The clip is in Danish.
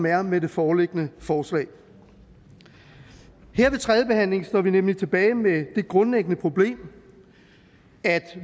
er med det foreliggende forslag her ved tredjebehandlingen står vi nemlig tilbage med det grundlæggende problem at